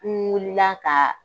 Ni wuli ka k'a